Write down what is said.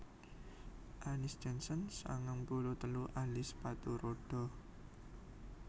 Annis Jensen sangang puluh telu ahli sepatu rodha